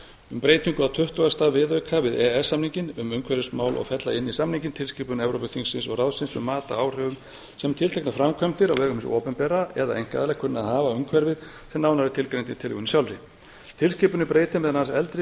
um breytingu á tuttugasta viðauka við e e s samninginn um umhverfismál og fella inn í samninginn tilskipun evrópuþingsins og ráðsins mat á áhrifum sem tilteknar framkvæmdir á vegum hins opinbera eða einkaaðila kunna að hafa á umhverfið sem nánar er tilgreind í tillögunni sjálfri tilskipunin breytir meðal annars eldri